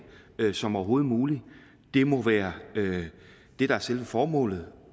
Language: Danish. som overhovedet muligt må være det der er selve formålet